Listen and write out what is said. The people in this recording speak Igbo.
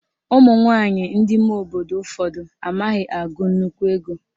Ụmụnwaanyị ndị ime obodo ụfọdụ amaghị agụ nnukwu ego